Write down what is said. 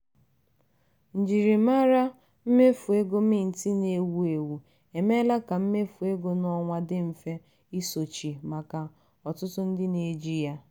njirimara usoro mmefu ego mint na-ewu ewu emeela ka mmefu ego n'ọnwa dị mfe isochi maka ọtụtụ ndị na-eji ya.